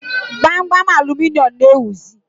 Gbamgbam aluminịọmụ na-ewuzi